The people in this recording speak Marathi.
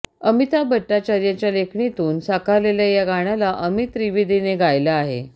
अमिताभ भट्टाचार्यच्या लेखणीतून साकारलेल्या या गाण्याला अमित त्रिवेदीने गायलं आहे